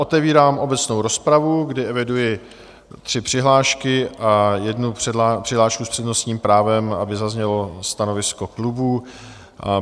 Otevírám obecnou rozpravu, kdy eviduji tři přihlášky a jednu přihlášku s přednostním právem, aby zaznělo stanovisko klubu.